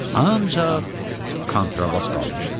Ancaq kontrabas qalmışdı.